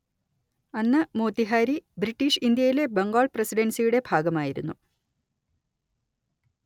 അന്ന് മോത്തിഹാരി ബ്രിട്ടീഷ് ഇന്ത്യയിലെ ബംഗാൾ പ്രസിഡൻസിയുടെ ഭാഗമായിരുന്നു